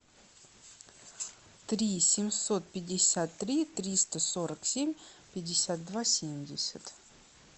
три семьсот пятьдесят три триста сорок семь пятьдесят два семьдесят